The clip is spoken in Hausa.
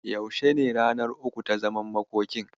Yaushe ne ranar uku ta zaman makokin?